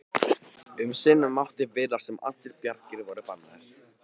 Um sinn mátti virðast sem allar bjargir væru bannaðar.